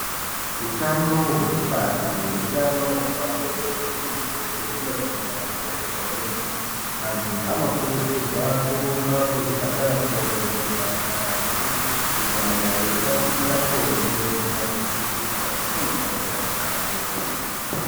Hutano hwekubara nehutano hwepabonde hwemuthu weshe hunofanirwa kukosheswa kwemene. Anthu anokurudzirwa kurumba kuzvipatara kovhenekwa ngazi kunyanya veida kuita bonde risina kuputirwa nemuntu wausikagondi.